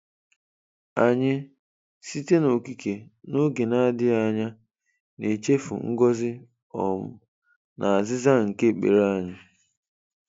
Anyị, site n'okike, n'oge na-adịghị anya na-echefu ngọzi um na azịza nke ekpere anyị.